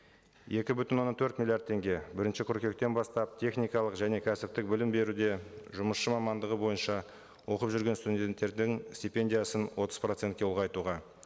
екі бүтін оннан төрт миллиард теңге бірінші қыркүйектен бастап техникалық және кәсіптік білім беруде жұмысшы мамандығы бойынша оқып жүрген студенттердің стипендиясын отыз процентке ұлғайтуға